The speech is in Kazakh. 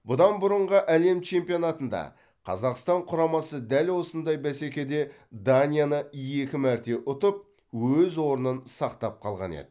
бұдан бұрынғы әлем чемпионатында қазақстан құрамасы дәл осындай бәсекеде данияны екі мәрте ұтып өз орнын сақтап қалған еді